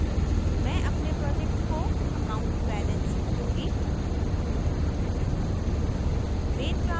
मैं अपने project को account balance दूँगी